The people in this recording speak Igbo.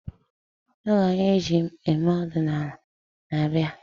Oge anyi ji eme odinala n-abịa